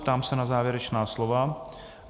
Ptám se na závěrečná slova.